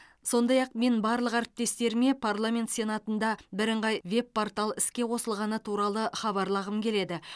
сондай ақ мен барлық әріптестеріме парламент сенатында бірыңғай веб портал іске қосылғаны туралы хабарлағым келеді